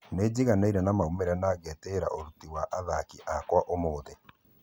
"Nĩnjiganĩire na maumerera na ngĩteĩra ũruti wa athaki akwa ũmũthĩ.